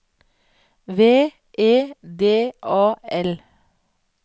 V E D A L